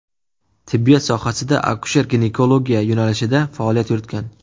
Tibbiyot sohasida akusher-ginekologiya yo‘nalishida faoliyat yuritgan.